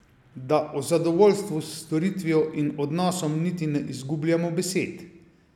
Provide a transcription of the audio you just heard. Da o zadovoljstvu s storitvijo in odnosom niti ne izgubljamo besed.